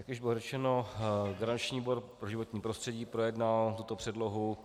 Jak již bylo řečeno, garanční výbor pro životní prostředí projednal tuto předlohu